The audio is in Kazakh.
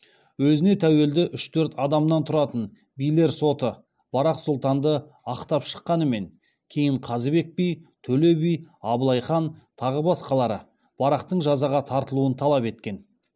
өзіне тәуелді үш төрт адамнан тұратын билер соты барақ сұлтанды ақтап шыққанымен кейін қазыбек би төле би абылай хан тағы басқалары барақтың жазаға тартылуын талап еткен